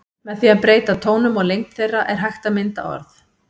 Með því að breyta tónum og lengd þeirra er hægt að mynda orð.